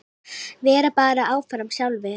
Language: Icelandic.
Vera bara áfram sjálfir.